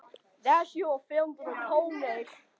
Hvers vegna gera þeir það?